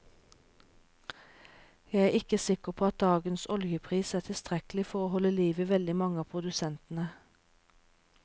Jeg er ikke sikker på at dagens oljepris er tilstrekkelig til å holde liv i veldig mange av produsentene.